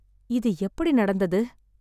இது எப்படி நடந்தது?